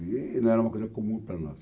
E... Não era uma coisa comum para nós.